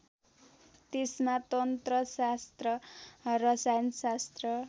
त्यसमा तन्त्रशास्त्र रसायनशास्त्र